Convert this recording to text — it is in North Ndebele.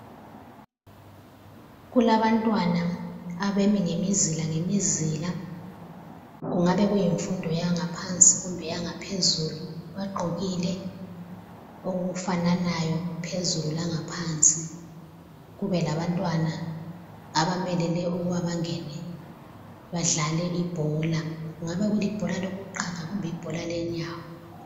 Kulabantwana abemi ngemizila lemizila, kungabe kuyimfundo yangaphansi kumbe eyangaphezulu. Bagqokile okufananayo phezulu langaphansi. Kube labantwana abamelele ukuba bangene badlale ibhola. Kungabe kulibhola lokuqaga kumbe ibhola lenyawo.